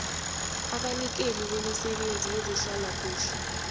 abanikeli bemisebenzi yezehlalakuhle